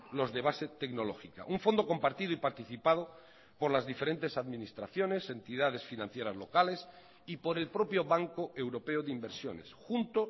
los de base tecnológica un fondo compartido y participado por las diferentes administraciones entidades financieras locales y por el propio banco europeo de inversiones junto